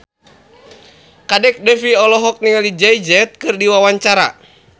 Kadek Devi olohok ningali Jay Z keur diwawancara